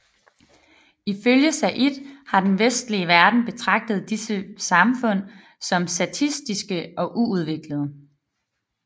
Ifølge Said har den vestlige verden betragtet disse samfund som statiske og uudviklede